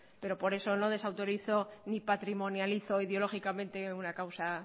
pero por eso no desautorizo ni patrimonializo ideológicamente una causa